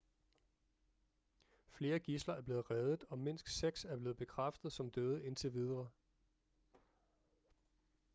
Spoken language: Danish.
flere gidsler er blevet reddet og mindst seks er blevet bekræftet som døde indtil videre